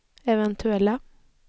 eventuella